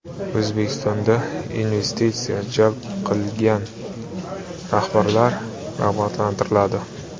O‘zbekistonda investitsiya jalb qilgan rahbarlar rag‘batlantiriladi.